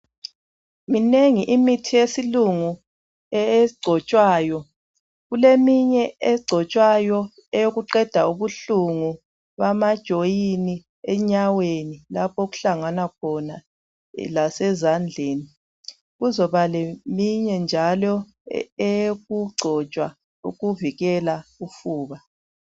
Minengi imithi yesilungu egcotshwayo kuleminye egcotshwayo eyokuqeda ubuhlungu kwamajoyini enyaweni lapho okuhlangana khona lasezandleni kuzoba leminye njalo eyokugcotshwa ukuvikela ufuba